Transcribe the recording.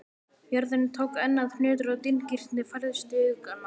Jörðin tók enn að nötra og dynkirnir færðust í aukana.